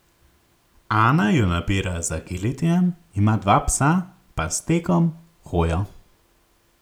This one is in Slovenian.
Ana jo nabira z agilitijem, ima dva psa, pa s tekom, hojo.